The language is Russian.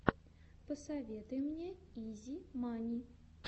посоветуй мне изи мани